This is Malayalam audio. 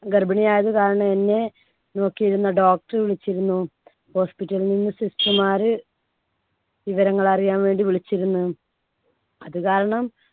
ഗർഭിണിയായത് കാരണം എന്നെ നോക്കിയിരുന്ന doctor വിളിച്ചിരുന്നു. hospital ൽ നിന്ന് sister മാര് വിവരങ്ങൾ അറിയാൻ വേണ്ടി വിളിച്ചിരുന്നു. അത് കാരണം